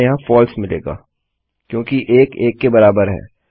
हमें यहाँ फलसे मिलेगा क्योंकि 1 बराबर है 1 के